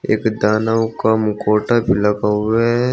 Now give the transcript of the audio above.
एक दानव का मुखौटा --